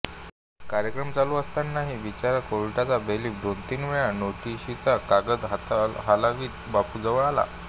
कार्यक्रम चालू असतानाही बिचारा कोर्टाचा बेलीफ दोन तीन वेळा नोटिशीचा कागद हालवीत बापूजवळ आला